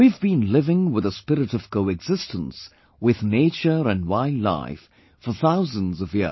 We have been living with a spirit of coexistence with nature and wildlife for thousands of years